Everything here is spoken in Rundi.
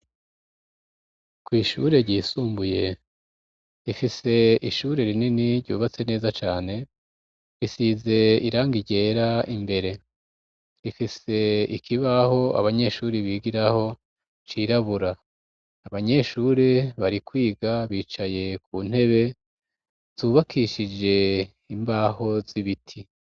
Kwishure ryisumbuye rifise ishure rinini ryubatse neza cane risize irangi ryera imbere rifise ikibaho abanyeshure bigiraho cirabura abanyeshure bari kwiga bicaye kuntebe zubakishije imbaho zibiti